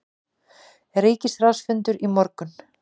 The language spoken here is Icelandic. Ríkisráðsfundur í morgun